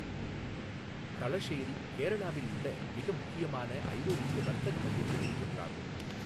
தளஷேரி கேரளாவில் உள்ள மிக முக்கியமான ஐரோப்பிய வர்த்தக மையங்களில் ஒன்றாகும்.